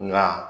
Nka